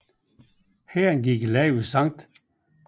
Hæren gik i land ved St